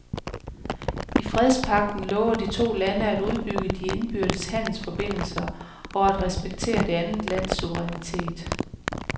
I fredspagten lover de to lande at udbygge de indbyrdes handelsforbindelser og at respektere det andet lands suverænitet.